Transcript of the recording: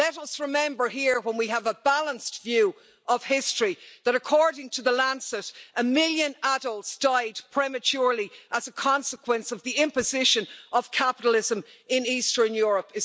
Let us remember here when we have a balanced view of history that according to the Lancet a million adults died prematurely as a consequence of the imposition of capitalism in Eastern Europe.